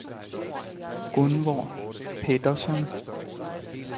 Gunvor Petterson